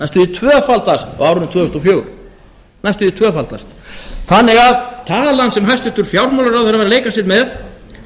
tvöfaldast á árinu tvö þúsund og fjögur þannig að talan sem hæstvirtur fjármálaráðherra var að leika sér með